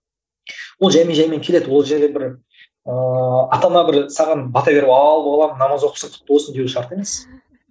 ол жәймен жәймен келеді ол жерде бір ыыы ата ана бір саған бата беріп ал балам намаз оқысың құтты болсын деуі шарт емес